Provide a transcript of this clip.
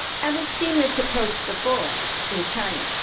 We have seen this approach before in China.